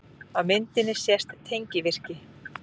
Á myndinni sést tengivirki.